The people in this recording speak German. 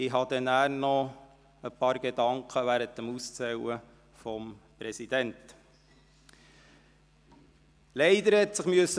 Ich werde später, während des Auszählens für die Wahl des Präsidenten, noch ein paar Gedanken äussern.